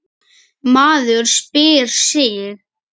Maður spyr sig.